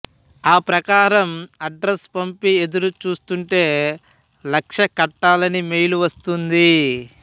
ఆ ప్రకారం అడ్రసు పంపి ఎదురు చూస్తూంటే లక్ష కట్టాలని మెయిల్ వస్తుంది